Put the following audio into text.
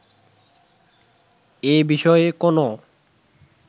এ বিষয়ে কোনো